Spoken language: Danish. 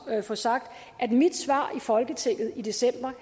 at få sagt at mit svar i folketinget i december